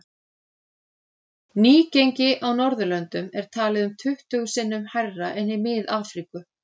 Nýgengi á Norðurlöndum er talið um tuttugu sinnum hærra en í Mið-Afríku.